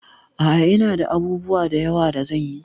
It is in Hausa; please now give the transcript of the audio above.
A'a, ina da abubuwa da yawa da zan yi.